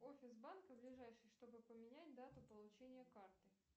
офис банка ближайший чтобы поменять дату получения карты